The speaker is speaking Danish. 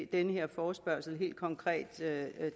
den her forespørgsel helt konkret